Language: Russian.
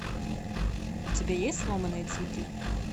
у тебя есть сломанные цветы